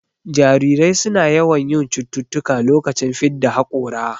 Jarirai suna yawan yin cututtuka lokacin fidda haƙora